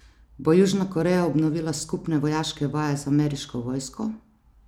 Bo Južna Koreja obnovila skupne vojaške vaje z ameriško vojsko?